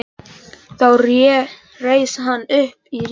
Þá reis hann upp í rekkju sinni.